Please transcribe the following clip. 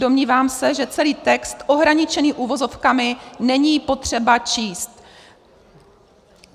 Domnívám se, že celý text ohraničený uvozovkami není potřeba číst.